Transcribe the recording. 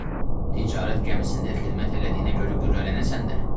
Bəlkə ticarət gəmisində xidmət elədiyinə görə qürrələnəsən də.